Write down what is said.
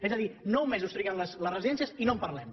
és a dir nou mesos triguen les residències i no en parlem